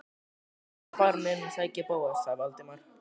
Ég er þá farinn inn að sækja Bóas- sagði Valdimar.